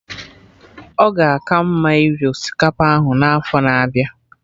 Ọ ga aka mma iri osikapa ahụ n'afọ na-abịa